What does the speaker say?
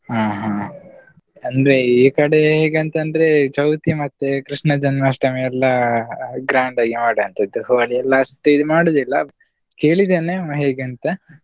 ಆ ಹ ಅಂದ್ರೆ ಈಕಡೆ ಹೇಗ್ ಅಂತ್ ಅಂದ್ರೆ ಚೌತಿ ಮತ್ತೆ ಕೃಷ್ಣ ಜನ್ಮಾಷ್ಟಮಿ ಎಲ್ಲಾ grand ಆಗಿ ಮಾಡೋ ಅಂಥದ್ದು, Holi ಯೆಲ್ಲಾ ಅಷ್ಟೇ ಇದ್ ಮಾಡೋದಿಲ್ಲ, ಕೇಳಿದೇನೆ ಹೇಗಂತ.